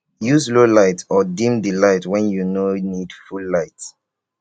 use low light or dim di light when you no need full light